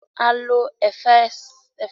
A lo efatelese láti gbet kẹkẹ lọ sí siwaju